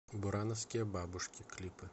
бурановские бабушки клипы